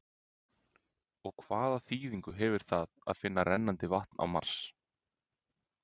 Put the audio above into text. En hvaða þýðingu hefur það að finna rennandi vatn á Mars?